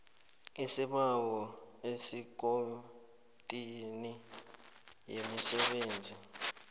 isibawo ekomitini yemisebenzi